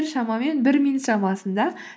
шамамен бір минут шамасында